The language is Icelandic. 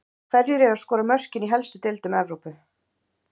Hverjir eru að skora mörkin í helstu deildum Evrópu?